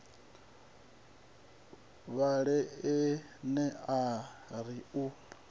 vhale ene a ri u